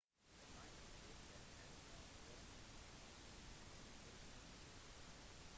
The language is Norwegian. nylig tapte han mot raonic i brisbane open